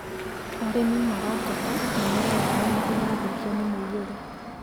Arĩmi malateta mĩmera yao nĩ ĩrathũkirio nĩ mũiyũro